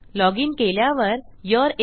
login केल्यावर you're in